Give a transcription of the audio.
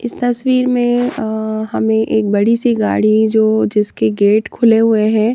इस तस्वीर में अ हमें एक बड़ी सी गाड़ी जो जिसके गेट खुले हुए हैं।